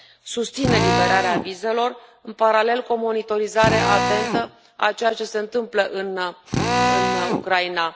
Susțin eliberarea vizelor, în paralel cu o monitorizare atentă a ceea ce se întâmplă în Ucraina.